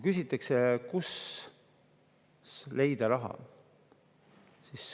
Küsitakse, kust leida raha.